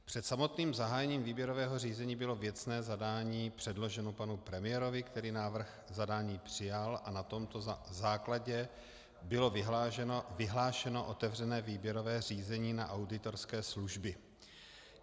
Před samotným zahájením výběrového řízení bylo věcné zadání předloženo panu premiérovi, který návrh zadání přijal, a na tomto základě bylo vyhlášeno otevřené výběrové řízení na auditorské služby.